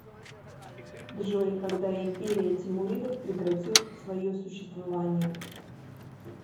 джой когда империя тимуридов прекратил свое существование